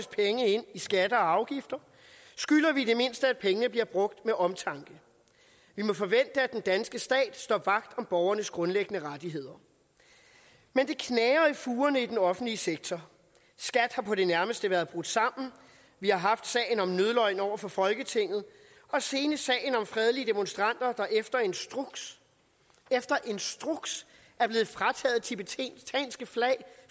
i skatter og afgifter skylder vi i det mindste at pengene bliver brugt med omtanke vi må forvente at den danske stat står vagt om borgernes grundlæggende rettigheder men det knager i fugerne i den offentlige sektor skat har på det nærmeste været brudt sammen vi har haft sagen om nødløgn over for folketinget og senest sagen om fredelige demonstranter der efter instruks efter instruks er blevet frataget det tibetanske flag